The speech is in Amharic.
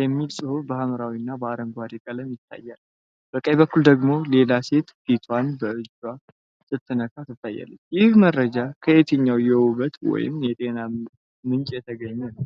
የሚል ጽሑፍ በሐምራዊና አረንጓዴ ቀለም ይታያል፣ ፣ በቀኝ በኩል ደግሞ ሌላ ሴት ፊቷን በእጇ ስትነካ ትታያለች። ይህ መረጃ ከየትኛው የውበት ወይም የጤና ምንጭ የተገኘ ነው?